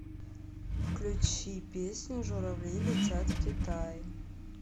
включи песню журавли летят в китай